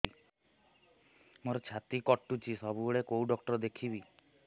ମୋର ଛାତି କଟୁଛି ସବୁବେଳେ କୋଉ ଡକ୍ଟର ଦେଖେବି